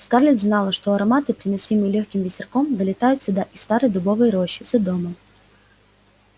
скарлетт знала что ароматы приносимые лёгким ветерком долетают сюда из старой дубовой рощи за домом